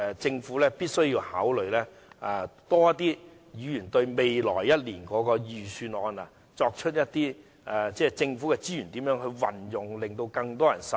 政府必須多些考慮議員對未來一年預算案的意見，妥善運用政府資源，令更多人受惠。